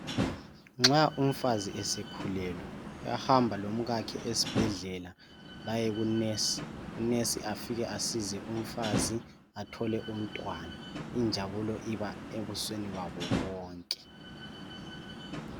Nxa umfazi esekhulelwe ,uyahamba lomkakhe esibhedlela bayeku nesi. Unesi afike asize umfazi athole umntwana ,injabulo iba ebusweni babo bonke.